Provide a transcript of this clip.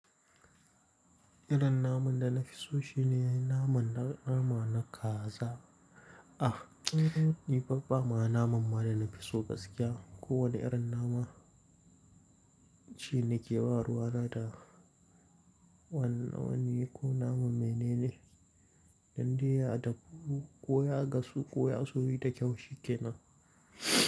Irin naman da na fi so shine naman nama na kaza. Ah, ni fa ba ma naman ma da na fi so gaskiya. Ko wane irin naman shine ke warwara da wanna wani ko naman menene, dande ya daƙo, koya gasu, koya suyi da kyau shi ke nan.